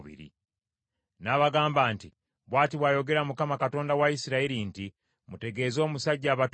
N’abagamba nti, “Bw’ati bw’ayogera Mukama , Katonda wa Isirayiri nti, ‘Mutegeeze omusajja abatumye nti,